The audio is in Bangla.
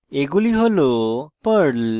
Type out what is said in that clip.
এগুলি হল perl